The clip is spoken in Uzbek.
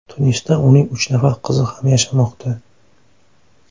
Tunisda uning uch nafar qizi ham yashamoqda.